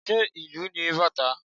Ṣé ìlù ni bàtá?